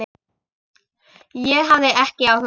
Og hafði ekki áhuga.